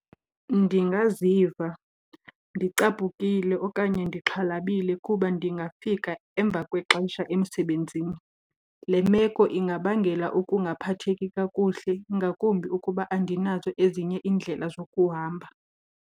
Ndingaziva ndicaphukile okanye ndixhalabile kuba ndingafika emva kwexesha emsebenzini. Le meko ingabangela ukungaphatheki kakuhle, ngakumbi ukuba andinazo ezinye iindlela zokuhamba.